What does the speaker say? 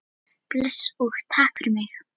Bless og takk fyrir mig.